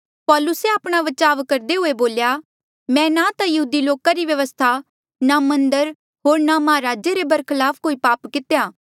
पौलुसे आपणा बचाव करदे हुए बोल्या मैं ना ता यहूदी लोका री व्यवस्था ना मन्दर होर ना महाराजे रे बरखलाफ कोई पाप कितेया